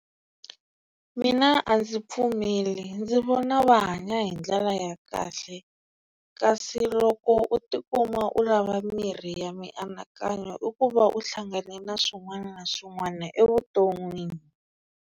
Mina a ndzi pfumeli ndzi vona va hanya hi ndlela ya kahle. Kasi loko u tikuma u lava mirhi ya mianakanyo i ku va u hlangane na swin'wana na swin'wana evuton'wini.